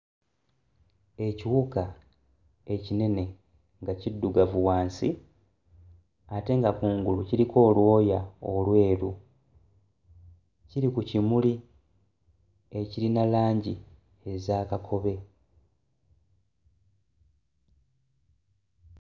Ekiwuka ekinene nga kiddugavu wansi ate nga ku ngulu kiriko olwoya olweru kiri ku kimuli ekirina langi eza kakobe.